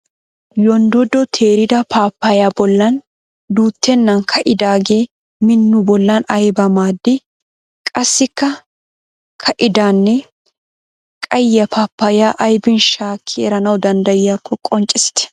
Yonddodo teerida paappayay bollan duuttennan ka'idaagee min nu bollan ayibaa maadii? Qassikka ka'idanne qayye paappayaa ayibin shaakki eranawu danddayiyakko qonccissite?